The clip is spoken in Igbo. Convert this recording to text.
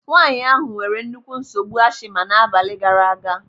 Nwaanyị ahụ nwere nnukwu nsogbu ashima n'abalị gaara aga.